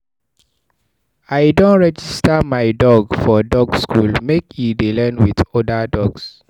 I don register my dog for dog school, make e dey learn wit oda dogs.